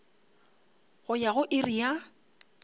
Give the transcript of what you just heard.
go ya go iri ya